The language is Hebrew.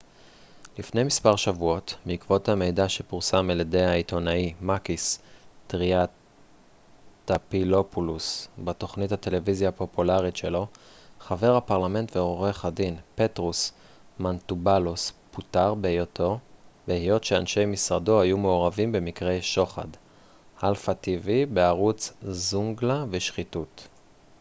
"לפני מספר שבועות בעקבות המידע שפורסם על ידי העיתונאי מאקיס טריאנטאפילופולוס בתוכנית הטלוויזיה הפופולרית שלו "zoungla" בערוץ alpha tv חבר הפרלמנט ועורך הדין פטרוס מנטובאלוס פוטר בהיות שאנשי משרדו היו מעורבים במקרי שוחד ושחיתות.